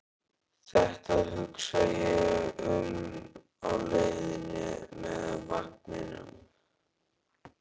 Þetta hugsa ég um á leiðinni með vagninum.